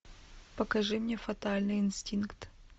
покажи мне фатальный инстинкт